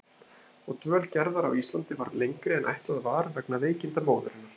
Og dvöl Gerðar á Íslandi varð lengri en ætlað var vegna veikinda móður hennar.